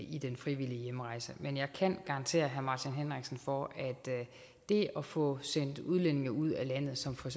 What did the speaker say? i den frivillige hjemrejse men jeg kan garantere herre martin henriksen for at det at få sendt udlændinge ud af landet som for